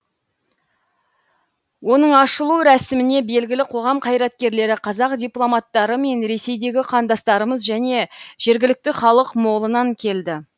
оның ашылу рәсіміне белгілі қоғам қайраткерлері қазақ дипломаттары мен ресейдегі қандастарымыз және жергілікті халық молынан келді